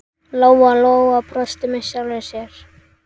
Lóa-Lóa brosti með sjálfri sér.